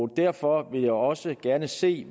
derfor vil jeg også gerne se